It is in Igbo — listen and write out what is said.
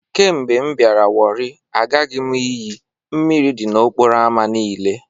Kemgbe m biara warri, agaghi m iyi.. Mmiri di n'okporo ámá niile